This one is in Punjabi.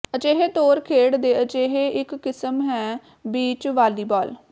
ਅਜਿਹੇ ਤੌਰ ਖੇਡ ਦੇ ਅਜਿਹੇ ਇੱਕ ਕਿਸਮ ਹੈ ਬੀਚ ਵਾਲੀਬਾਲ